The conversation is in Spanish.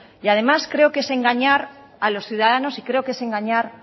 y además creo que es engañar a los ciudadanos y creo que es engañar